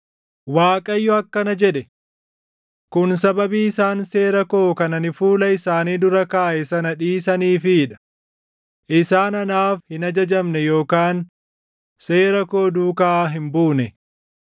Waaqayyo akkana jedhe; “Kun sababii isaan seera koo kan ani fuula isaanii dura kaaʼe sana dhiisaniifii dha; isaan anaaf hin ajajamne yookaan seera koo duukaa hin buune.